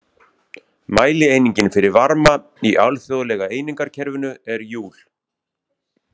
Mælieiningin fyrir varma í alþjóðlega einingakerfinu er júl.